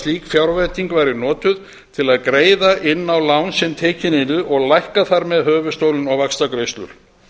slík fjárveiting væri notuð til að greiða inn á lán sem tekin yrðu og lækka þar með bæði höfuðstólinn og vaxtagreiðslur